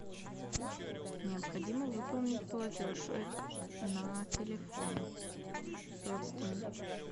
необходимо выполнить платеж на телефон родственнику